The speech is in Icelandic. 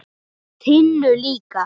Tinnu líka.